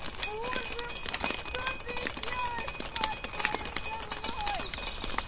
боже что ты делаешь мать твою со мной